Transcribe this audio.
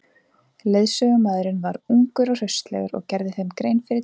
Leiðsögumaðurinn var ungur og hraustlegur og gerði þeim grein fyrir deginum.